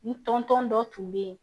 N tɔntɔn dɔ tun bɛ yen